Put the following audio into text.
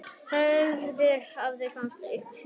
höfundur þakkar tómasi fyrir veittar upplýsingar